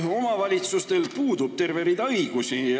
Omavalitsustel puudub terve rida õigusi.